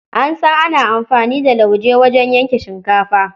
An san ana amfani da lauje wajen yanke shinkafa.